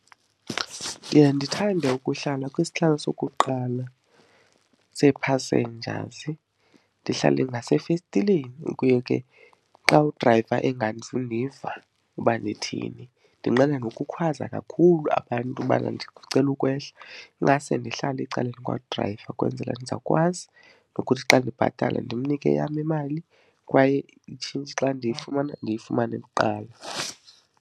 Ndiya ndithande ukuhlala kwisihlalo sokuqala see-passengers, ndihlale ngasefestileni kuyo ke. Xa udrayiva engazundiva uba ndithini, ndinqena nokukhwaza kakhulu abantu ubana ndicela ukwehla, ingase ndihlale ecaleni kwadrayiva ukwenzela ndizawukwazi nokuthi xa ndibhatala ndimnike eyam imali kwaye itshintshi xa ndiyifumana ndiyifumane kuqala.